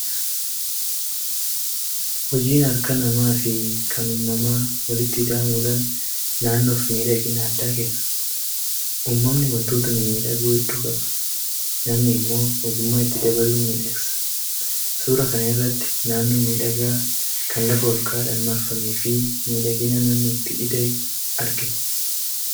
Hojiin harka namaa fi kan uumamaa walitti ida'amuudhaan naannoof miidhagina addaa kenna. Uumamni wantoota mimmiidhagoo hedduu qaba. Namni immoo ogummaa itti dabaluun miidhagsa. Suuraa kana irratti naannoo miidhagaa kan lafa ol ka'aadhaan marfamee fi miidhagina namni itti ida'e argina.